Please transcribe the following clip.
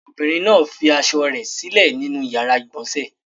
Ọmọbìnrin náà fi aṣọ rẹ̀ sílẹ̀ nínú ìyàrá-ìgbọ̀nsẹ̀.